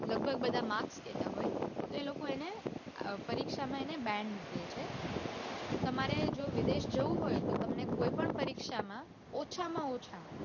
લઘભગ બધા marks કેતા હોય તે એ લોકો એને પરીક્ષામાં એને band કે છે તમારે જો વિદેશ જાઉં હોય તો તમને કોઈ પણ પરીક્ષામાં ઓછા માં ઓછા